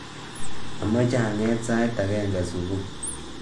Amache anget sait agenge subui